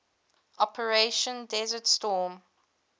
operation desert storm